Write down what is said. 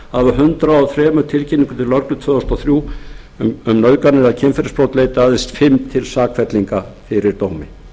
og þrjú tilkynningum til lögreglu tvö þúsund og þrjú um nauðganir eða kynferðisbrot leiddu aðeins fimm til sakfellinga fyrir dómi